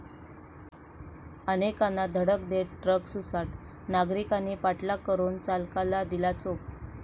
अनेकांना धडक देत ट्रक सुसाट, नागरिकांनी पाठलाग करून चालकाला दिला चोप